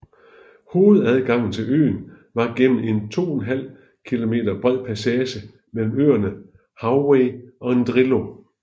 Hovedadgangen til øen var gennem en 2½ km bred passage mellem øerne Hauwei og Ndrilo